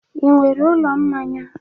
Ị nwere ụlọ mmanya?